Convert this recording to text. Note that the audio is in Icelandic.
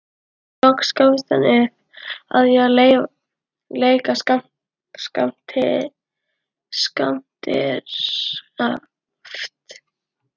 Loks gafst hann upp á því að leika skemmtikraft.